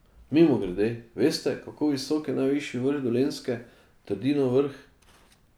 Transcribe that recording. Mimogrede, veste, kako visok je najvišji vrh Dolenjske, Trdinov vrh?